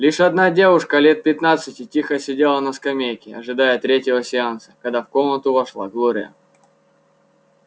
лишь одна девушка лет пятнадцати тихо сидела на скамейке ожидая третьего сеанса когда в комнату вошла глория